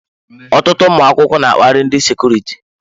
Ọtụtụ ụmụ akwụkwọ n'akpari ndị sekuriti.